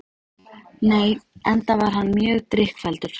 Nei, enda var hann mjög drykkfelldur